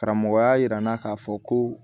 Karamɔgɔya yira n na k'a fɔ ko